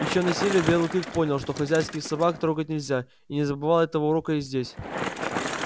ещё на севере белый клык понял что хозяйских собак трогать нельзя и не забывал этого урока и здесь